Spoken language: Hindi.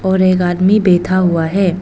और एक आदमी बैठा हुआ है।